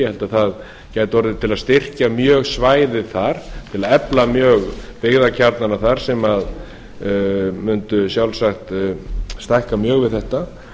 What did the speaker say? ég held að það gæti orðið til að styrkja mjög svæðið þar til að efla byggðakjarnana þar sem mundu sjálfsagt stækka mjög við þetta